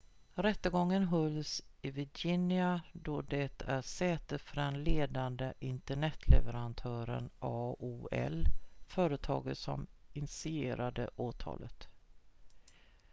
rättegången hölls i virginia då det är sätet för den ledande internetleverantören aol företaget som initierade åtalet